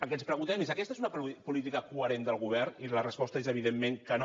el que ens preguntem és aquesta és una política coherent del govern i la resposta és evidentment que no